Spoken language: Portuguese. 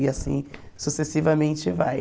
E assim sucessivamente vai.